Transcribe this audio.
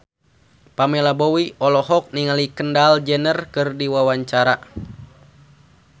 Pamela Bowie olohok ningali Kendall Jenner keur diwawancara